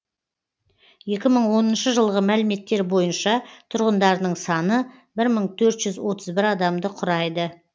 екі мың оныншы жылғы мәліметтер бойынша тұрғындарының саны бір мың төрт жүз отыз бір адамды құрайды